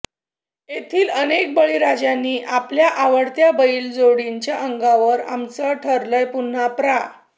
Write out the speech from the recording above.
येथील अनेक बळीराजांनी आपल्या आवडत्या बैल जोडीच्या अंगावर आमचं ठरलंय पुन्हा प्रा